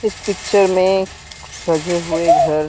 इस पिक्चर मे कुछ सजे हुए घर --